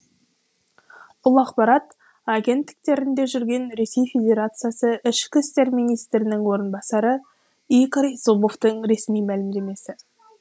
бұл ақпарат агенттіктерінде жүрген ресей федерациясы ішкі істер министрінің орынбасары игорь зубовтың ресми мәлімдемесі